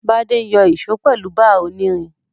Bádé n yo ìso pèlu bar onírin